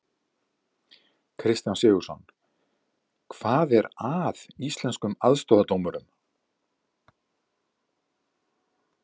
Kristján Sigurðsson: Hvað er að Íslenskum aðstoðardómurum?